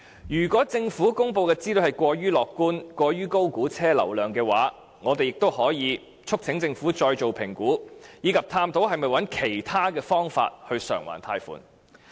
如果政府公布的資料過於樂觀及過於高估車輛流量的話，我們也可以促請政府再作評估，以及探討是否找其他方法償還貸款。